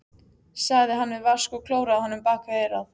sagði hann við Vask og klóraði honum bak við eyrað.